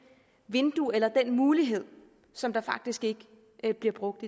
vindue eller den mulighed som faktisk ikke bliver brugt